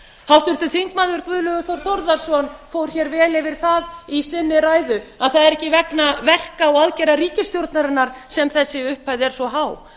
háttvirtur þingmaður guðlaugur þór þórðarson fór hér vel yfir það í sinni ræðu að það er ekki vegna verka og aðgerða ríkisstjórnarinnar sem þessi upphæð er svo há það